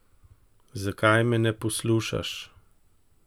Zakaj me ne poslušaš?